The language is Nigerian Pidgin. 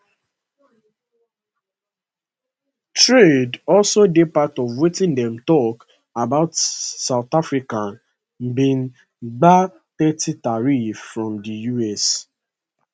trade also dey part of wetin dem tok about as south africa bin gbab thirty tariffs from di us